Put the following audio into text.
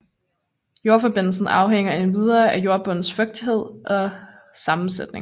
Jordforbindelsen afhænger endvidere af jordbundens fugtighed og sammensætning